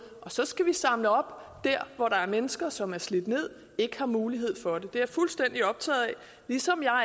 og så skal vi samle op der hvor der er mennesker som er slidt ned og ikke har mulighed for det det er jeg fuldstændig optaget af ligesom jeg og